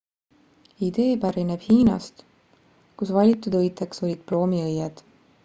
idee pärineb hiinast kus valitud õiteks olid ploomiõied